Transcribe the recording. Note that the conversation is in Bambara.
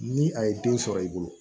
Ni a ye den sɔrɔ i bolo